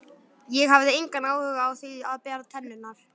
Ég hafði engan áhuga á því að bera tennurnar.